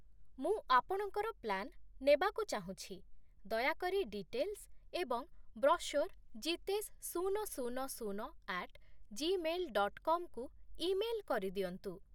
ମୁଁ ଆପଣଙ୍କର ପ୍ଲାନ୍ ନେବାକୁ ଚାହୁଁଛି, ଦୟାକରି ଡିଟେଲ୍ସ୍ ଏବଂ ବ୍ରସ୍ୟୋର୍ ଜିତେଶ୍ ଶୂନ ଶୁନ ଶୂନ ଆଟ୍ ଜିମେଲ୍ ଡଟ୍ କମ୍ କୁ ଇମେଲ୍ କରିଦିଅନ୍ତୁ।